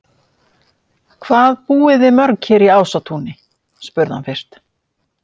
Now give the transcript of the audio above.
Hvað búið þið mörg hér í Ásatúni? spurði hann fyrst.